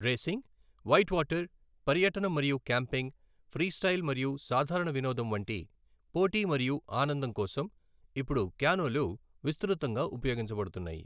Racing, whitewater, పర్యటనం మరియు camping, freestyle మరియు సాధారణ వినోదం వంటి పోటీ మరియు ఆనందం కోసం ఇప్పుడు క్యానోలు విస్తృతంగా ఉపయోగించబడుతున్నాయి.